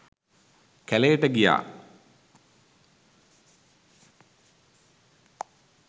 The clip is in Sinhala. කැළේට ගියා.